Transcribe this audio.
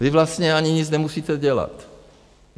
Vy vlastně ani nic nemusíte dělat.